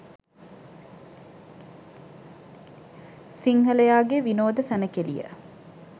සිංහලයාගේ විනෝද සැණකෙළිය